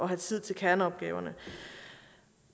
have tid til kerneopgaverne